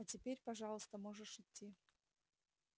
а теперь пожалуйста можешь идти